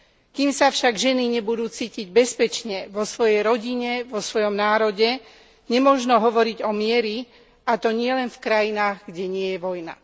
Kým sa však ženy nebudú cítiť bezpečne vo svojej rodine, vo svojom národe, nemožno hovoriť o mieri, a to nielen v krajinách, kde nie je vojna.